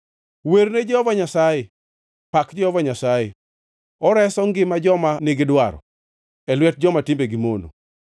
Werne Jehova Nyasaye! Pak Jehova Nyasaye! Oreso ngima joma nigidwaro, e lwet joma timbegi mono.